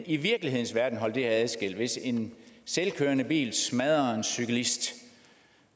i virkelighedens verden kan holde det her adskilt hvis en selvkørende bil smadrer en cyklist